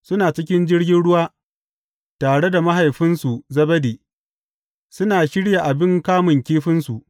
Suna cikin jirgin ruwa tare da mahaifinsu Zebedi, suna shirya abin kamun kifinsu.